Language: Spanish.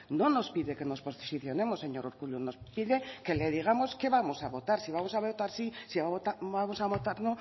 no nos pide que nos posicionemos señor urkullu nos pide que le digamos qué vamos a votar si vamos a votar sí si vamos a votar